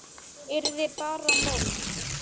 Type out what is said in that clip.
Yrði bara mold.